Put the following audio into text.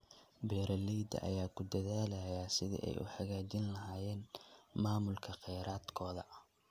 Beeralayda ayaa ku dadaalaya sidii ay u hagaajin lahaayeen maamulka kheyraadkooda.